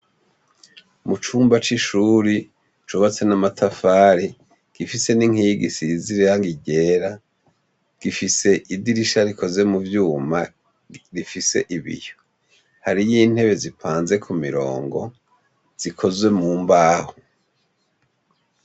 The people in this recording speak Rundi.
Mucumba cishuri cubatse namatari, gifise ninkingi isize irangi ryera, gifise idirisha rikoze muvyuma rifise ibiyo. Hariyo intebe zipanze kumirongo zikozwe mumbaho.